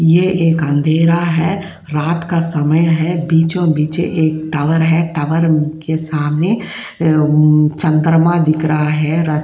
ये एक अंधेरा है रात का समय है। बीचो-बिच एक टावर है टावर के सामने अ उ चंद्रमा दिख रहा है। रस --